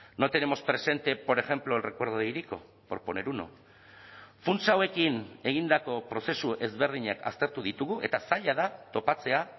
no tenemos presente por ejemplo el recuerdo de hiriko por poner uno funtsa hauekin egindako prozesu ezberdinak aztertu ditugu eta zaila da topatzea